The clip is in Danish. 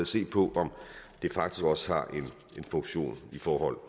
se på om det faktisk også har en funktion i forhold